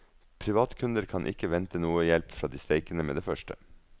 Privatkunder kan ikke vente noen hjelp fra de streikende med det første.